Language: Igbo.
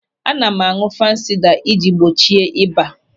Ana m áñụ̀ fansida i ji gbochie ịba.